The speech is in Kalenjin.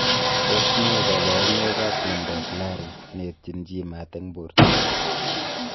Tos nee kabarunoik ap miondoop lari neetchiin chii maat eng portoo?